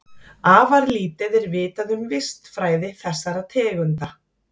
Afar lítið er vitað um vistfræði þessara tegunda.